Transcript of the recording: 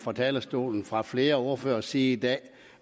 fra talerstolen fra flere ordføreres side i dag